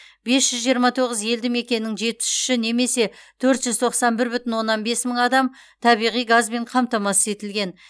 бес жүз жиырма тоғыз елді мекеннің жетпіс үші немесе төрт жүз тоқсан бір бүтін оннан бес мың адам табиғи газбен қамтамасыз етілген